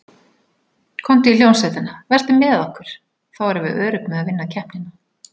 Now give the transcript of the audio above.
Komdu í hljómsveitina, vertu með okkur, þá erum við örugg með að vinna keppnina.